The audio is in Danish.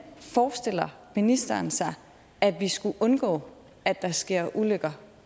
forestiller ministeren sig at vi skulle undgå at der sker ulykker